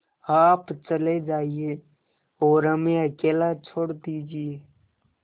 आप चले जाइए और हमें अकेला छोड़ दीजिए